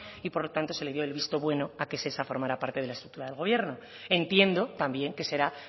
y por lo tanto se le dio el visto bueno a que shesa formara parte de la estructura del gobierno entiendo también que será